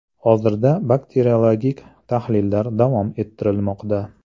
Hozirda bakteriologik tahlillar davom ettirilmoqda.